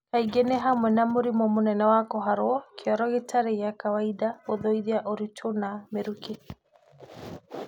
Kaingĩ nĩ hamelwe na mũrimũ mũnene wa kũharo, kĩoro gĩtarĩ gĩa kwawaida, kũgũithia ũritũ na mĩrukĩ.